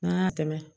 N'an y'a tɛmɛ